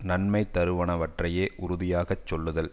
நன்மை தருவனவற்றையே உறுதியாக சொல்லுதல்